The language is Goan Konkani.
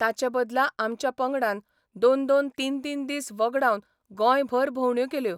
ताचे बदला आमच्या पंगडान दोन दोन तीन तीन दीस वगडावन गोंयभर भोवंड्यो केल्यो.